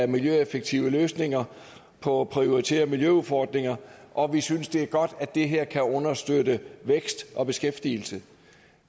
miljøeffektive løsninger på prioriterede miljøudfordringer og vi synes det er godt at det her kan understøtte vækst og beskæftigelse